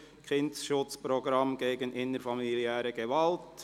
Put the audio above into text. «Kindesschutz-Programm gegen innerfamiliäre Gewalt».